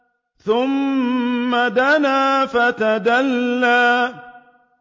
ثُمَّ دَنَا فَتَدَلَّىٰ